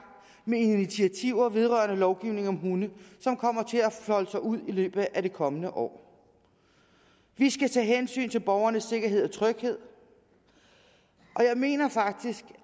med initiativer vedrørende lovgivning om hunde som kommer til at folde sig ud i løbet af det kommende år vi skal tage hensyn til borgernes sikkerhed og tryghed og jeg mener faktisk